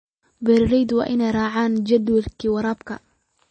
Beeralayda waa inay raacaan jadwalka waraabka.